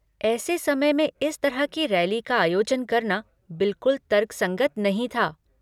ऐसे समय में इस तरह की रैली का आयोजन करना बिल्कुल तर्कसंगत नहीं था।